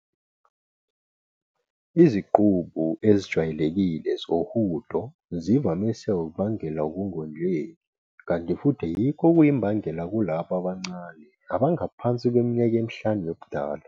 Iziqubu ezijwayelekile zohudo zivamise ukubangelwa ukungondleki kanti futhi yikho okuyimbangela kulabo abancane abangaphansi kweminyaka emihlanu yobudala.